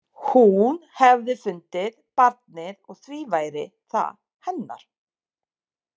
Hún hefði fundið barnið og því væri það hennar.